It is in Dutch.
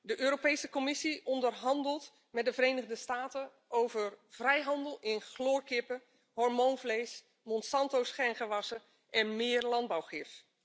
De Europese Commissie onderhandelt met de Verenigde Staten over vrijhandel in chloorkippen, hormoonvlees, Monsanto's gengewassen en meer landbouwgif.